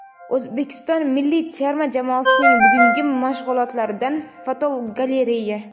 O‘zbekiston milliy terma jamoasining bugungi mashg‘ulotlaridan fotogalereya.